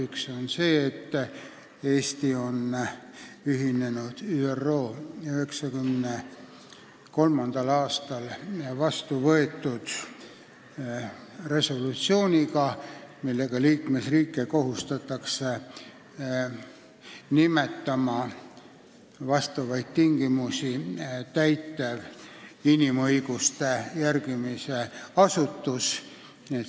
Esiteks, Eesti on ühinenud ÜRO 1993. aastal vastu võetud resolutsiooniga, millega kohustatakse liikmesriike nimetama vastavaid tingimusi täitev inimõiguste järgimise asutus.